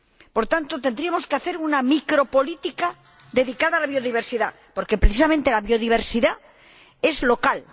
Por tanto, tendríamos que hacer una micropolítica dedicada a la biodiversidad porque, precisamente, la biodiversidad es local.